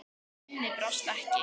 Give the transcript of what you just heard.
Minnið brást ekki.